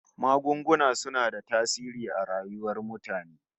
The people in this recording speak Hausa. Magunguna suna da tasiri a rayuwar mutane